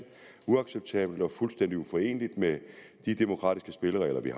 uacceptabelt og fuldstændig uforeneligt med de demokratiske spilleregler vi